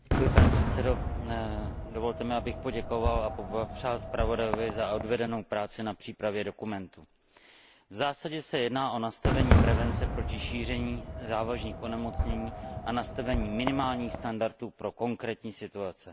Pane předsedající, dovolte mi, abych poděkoval a poblahopřál zpravodajovi za odvedenou práci na přípravě dokumentu. V zásadě se jedná o nastavení prevence proti šíření závažných onemocnění a nastavení minimálních standardů pro konkrétní situace.